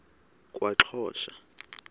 kwaxhosa